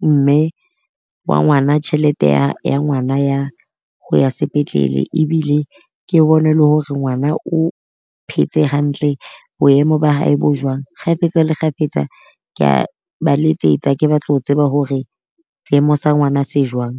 mme wa ngwana tjhelete ya ya ngwana ya ho ya sepetlele. Ebile ke bone le hore ngwana o phetse hantle. Boemo ba hae bo jwang kgafetsa le kgafetsa kea ba letsetsa ke batla ho tseba hore seemo sa ngwana se jwang.